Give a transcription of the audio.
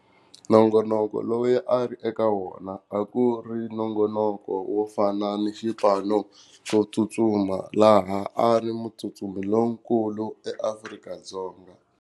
Nongonoko loyi a ri eka wona a ku ri nongonoko wo fana ni xipano xo tsutsuma laha a ri mutsutsumi lonkulu eAfrika-Dzonga.